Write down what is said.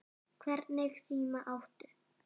Hvernig síma áttu?